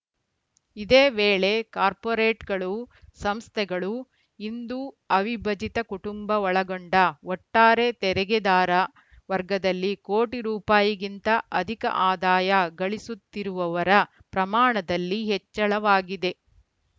ಇದೇ ವೇಳೆ ಕಾರ್ಪೋರೆಟ್‌ಗಳು ಸಂಸ್ಥೆಗಳು ಹಿಂದು ಅವಿಭಜಿತ ಕುಟುಂಬ ಒಳಗೊಂಡ ಒಟ್ಟಾರೆ ತೆರಿಗೆದಾರ ವರ್ಗದಲ್ಲಿ ಕೋಟಿ ರೂಪಾಯಿ ಗಿಂತ ಅಧಿಕ ಆದಾಯ ಗಳಿಸುತ್ತಿರುವವರ ಪ್ರಮಾಣದಲ್ಲಿ ಹೆಚ್ಚಳವಾಗಿದೆ